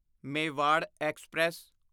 Mewar express